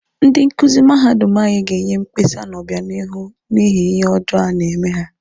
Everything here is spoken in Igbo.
Ndị nkuzi mahadum anyị ga-enye mkpesa n'obịanihu n'ihi ihe ọjọọ a na-eme ha.